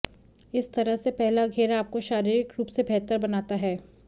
इस तरह से पहला घेरा आपको शारीरिक रूप से बेहतर बनाता है